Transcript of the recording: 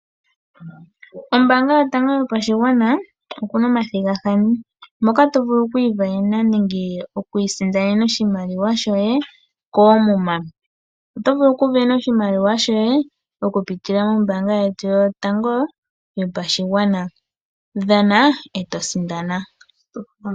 Ombaanga yotango yopashigwana okuna omathigafathano moka to vulu oku ivenena nenge oku isindanena oshimaliwa shoye koomuma, oto vulu oku vena oshimaliwa shoye oku pitila mombaanga yetu yotango yopashigwana, dhana eto sindana.